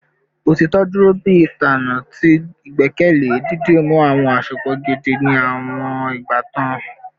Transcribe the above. Otitọ duro bi itanna ti igbẹkẹle, didimu awọn asopọ gidi ni awọn ibatan